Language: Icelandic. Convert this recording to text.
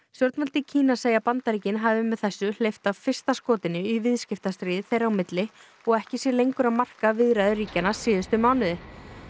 stjórnvöld í Kína segja að Bandaríkin hafi með þessu hleypt af fyrsta skotinu í viðskiptastríði þeirra á milli og ekki sé lengur að marka viðræður ríkjanna síðustu mánuði